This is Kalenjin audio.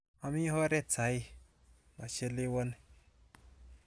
Ami oret saii, machelewani.